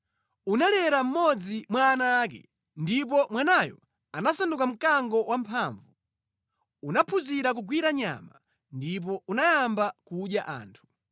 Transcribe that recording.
Unalera mmodzi mwa ana ake, ndipo mwanayo anasanduka mkango wamphamvu. Unaphunzira kugwira nyama, ndipo unayamba kudya anthu.